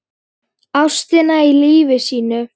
Ástina í lífi sínu.